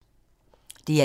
DR1